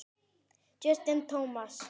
Justin Thomas.